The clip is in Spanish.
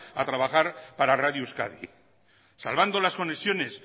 a trabajar para radio euskadi salvando las conexiones